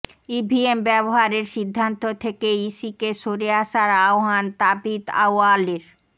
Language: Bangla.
ইভিএম ব্যবহারের সিদ্ধান্ত থেকে ইসিকে সরে আসার আহ্বান তাবিথ আউয়ালের